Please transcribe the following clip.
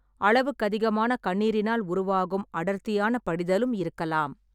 அளவுக்கதிகமான கண்ணீரினால் உருவாகும் அடர்த்தியான படிதலும் இருக்கலாம்.